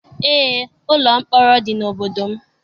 Eé, ụlọ mkpọrọ dị n'obodo m.